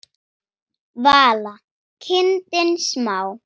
Vala: kindin smá.